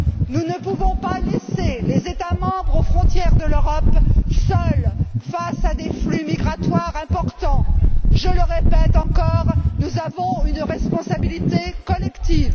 Nous ne pouvons pas laisser les États membres, aux frontières de l'Europe, seuls face à des flux migratoires importants. Je le répète encore, nous avons une responsabilité collective.